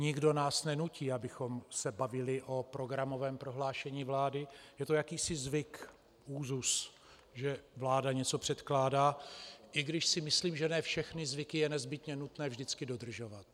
Nikdo nás nenutí, abychom se bavili o programovém prohlášení vlády, je to jakýsi zvyk, úzus, že vláda něco předkládá, i když si myslím, že ne všechny zvyky je nezbytně nutné vždycky dodržovat.